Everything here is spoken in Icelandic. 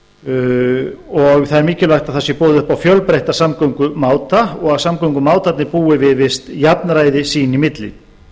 er mikilvægt að það sé boðið upp á fjölbreyttan samgöngumáta og samgöngumátarnir búi við virt jafnræði sín í milli